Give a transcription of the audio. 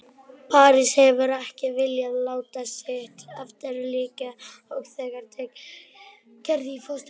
París hefur ekki viljað láta sitt eftir liggja og þegar tekið Gerði í fóstur.